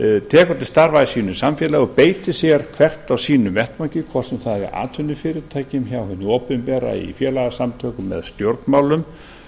tekur til starfa í sínu samfélagi og beitir sér hvert á sínum vettvangi hvort sem það er atvinnufyrirtæki hjá hinu opinbera í félagasamtökum eða stjórnmálum